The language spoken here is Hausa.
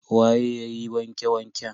Waye yayi wanke wanken?